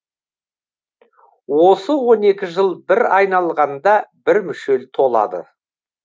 осы он екі жыл бір айналғанда бір мүшел толады